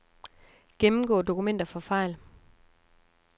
Gennemgå dokumenter for fejl.